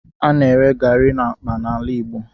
A na-ere garri n'akpa n'ala Igbo.